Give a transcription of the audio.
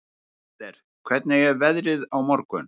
Mensalder, hvernig er veðrið á morgun?